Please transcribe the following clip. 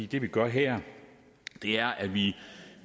det vi gør her er at vi